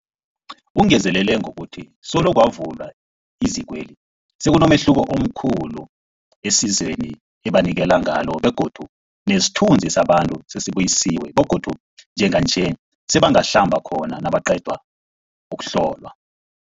Ungezelele ngokuthi solo kwavulwa izikweli, sekunomehluko omkhulu esizweni ebanikelana ngalo begodu nesithunzi sabantu sesibuyisiwe begodu njenganje sebangahlamba khona nabaqeda ukuhlolwa.